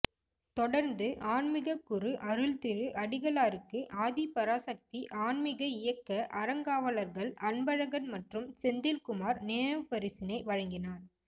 தொடர்ந்து ஆன்மிககுரு அருள்திரு அடிகளாருக்கு ஆதிபராசக்தி ஆன்மிக இயக்க அறங்காவலர்கள் அன்பழகன் மற்றும்செந்தில்குமார் நினைவு பரிசினை வழங்கினார்